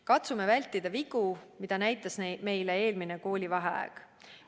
Katsume vältida vigu, mida näitas meile eelmine koolivaheaeg.